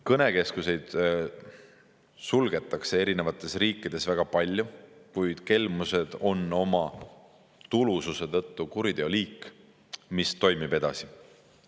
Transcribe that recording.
Kõnekeskuseid suletakse eri riikides väga palju, kuid kelmused on oma tulususe tõttu kuriteoliik, mis toimub edasi.